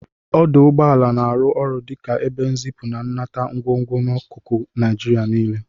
Ọdụ ụgbọala na-arụ ọrụ dị ka ebe nzipu na nnata ngwugwu n'akụkụ Naịjirịa niile.